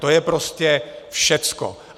To je prostě všecko.